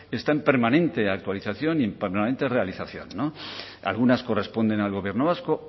está en permanente actualización y en permanente realización algunas corresponden al gobierno vasco